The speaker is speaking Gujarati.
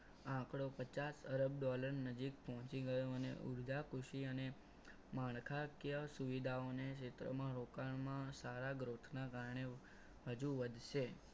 આપણો પચાસ અરબ dollar નજીક પહોંચી ગયો અને ઉર્જા કૃષિ અને માળખાગ્ય સુવિધાઓને ક્ષેત્રમાં રોકાણ માં સારા growth ના કારણને હજુ વધશે.